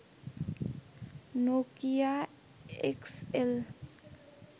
Nokia X L